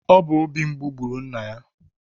Obi mgbu gburu nna ya